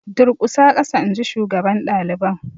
Durƙusa ƙasa inji shugaban daliban.